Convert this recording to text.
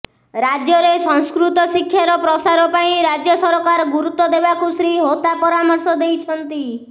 ରାଜ୍ୟରେ ସଂସ୍କୃତ ଶିକ୍ଷାର ପ୍ରସାର ପାଇଁ ରାଜ୍ୟ ସରକାର ଗୁରୁତ୍ୱ ଦେବାକୁ ଶ୍ରୀ ହୋତା ପରାମର୍ଶ ଦେଇଛନ୍ତି